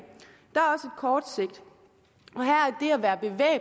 kort sigt